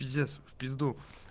пиздец в пизду